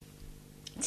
TV 2